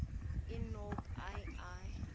i nobe ii